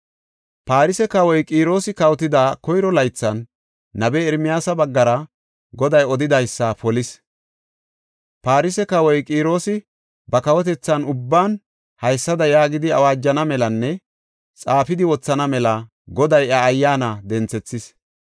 Farse kawoy Qiroosi kawotida koyro laythan nabiya Ermiyaasa baggara Goday odidaysa polis. Farse kawoy Qiroosi ba kawotethan ubban haysada yaagidi awaajana melanne xaafidi wothana mela Goday iya ayyaana denthethis.